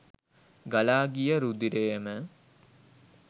ගලා ගිය රුධිරයම